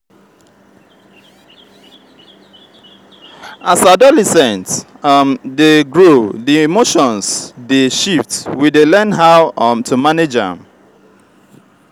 di journey of personal growth dey difficult but we dey find our way our way slowly.